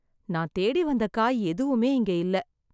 நான் தேடி வந்த காய் எதுவுமே இங்க இல்ல